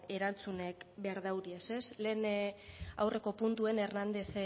erantzunak behar dute ez lehen aurreko puntuan hernández